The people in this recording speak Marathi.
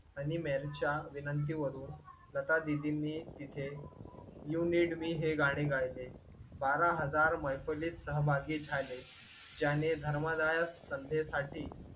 आणि मॅरीच्या विनंती वरून लतादीदींनी यु नीड मी हे गाणे गायले. बारा हजार मैफलीत सहभागी झाले. ज्याने धर्माला संध्येसाठी